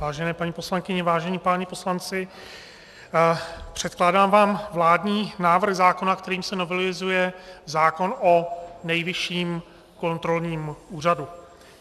Vážené paní poslankyně, vážení páni poslanci, předkládám vám vládní návrh zákona, kterým se novelizuje zákon o Nejvyšším kontrolním úřadu.